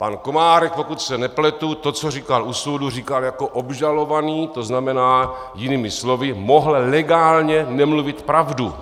Pan Komárek, pokud se nepletu, to, co říkal u soudu, říkal jako obžalovaný, to znamená jinými slovy, mohl legálně nemluvit pravdu.